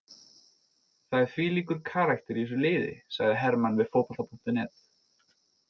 Það er þvílíkur karakter í þessu liði, sagði Hermann við Fótbolta.net.